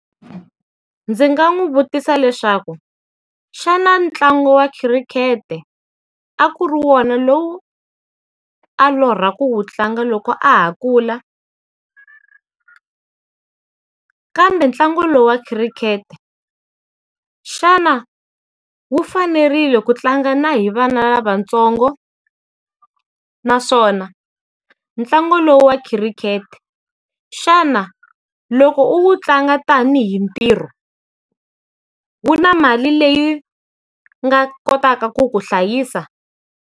Ndzi nga n'wi vutisa leswaku, xana ntlangu wa khirikhete a ku ri wona lowu a lorha ku wu tlanga loko a ha kula. Kambe ntlangu lowu wa khirikhete, xana wu fanerile ku tlanga na hi vana lavatsongo? Naswona, ntlangu lowu wa khirikhete, xana, loko u wu tlanga tanihi ntirho, wu na mali leyi nga kotaka ku ku hlayisa?